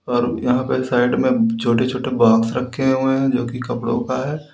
और यहां पर साइड में छोटे छोटे बॉक्स रखे हुए हैं जो की कपड़ों का है।